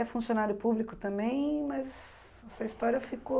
É funcionário público também, mas essa história ficou...